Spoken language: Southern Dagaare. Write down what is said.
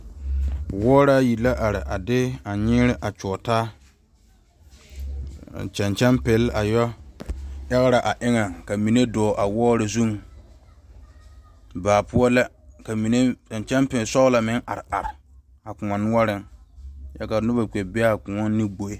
Wɔɔr ayi la are a de nyɛŋ a tɔgeli taa, ka kyɛŋ kyɛŋ pɛɛle a yɔ argire a eŋɛ ka mine dɔɔ a wɔɔr zuŋ baa poɔ la ka kyɛŋ kyɛŋ pɛɛle sɔglɔ meŋ are a koɔ noɔreŋ kyɛ ka noba kpɛ be a koɔ ne gboe